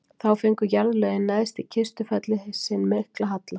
þá fengu jarðlögin neðst í kistufelli sinn mikla halla